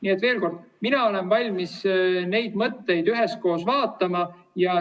Nii et veel kord: mina olen valmis neid mõtteid üheskoos üle vaatama.